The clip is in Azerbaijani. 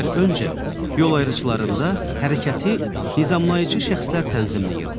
İllər öncə yol ayrıcılarında hərəkəti nizamlayıcı şəxslər tənzimləyirdi.